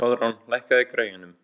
Koðrán, lækkaðu í græjunum.